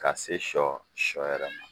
Ka se sɔ ,sɔ yɛrɛ ma.